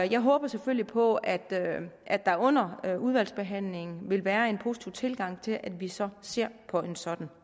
jeg håber selvfølgelig på at at der under udvalgsbehandlingen vil være en positiv tilgang til at vi så ser på en sådan